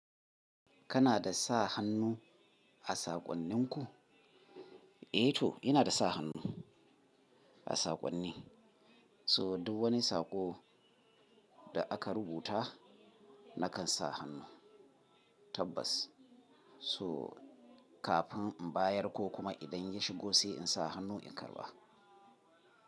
Kana da sa hannu a saƙonninku? Eh to, yana da sa hannu a saƙonni. So duk wani saƙo da aka rubuta nakan sa hannu tabbas. So kafin in bayar ko kuma idan ya shigo sai in sa hannu in karɓa.